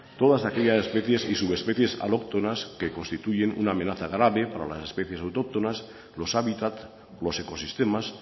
todas aquellas especies y subespecies que constituyen una amenaza grave para las especies autóctonas los hábitat los ecosistemas